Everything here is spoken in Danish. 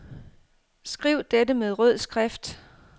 Skriv dette med rød skrift.